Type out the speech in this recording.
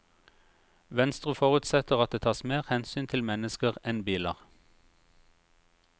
Venstre forutsetter at det tas mer hensyn til mennesker enn biler.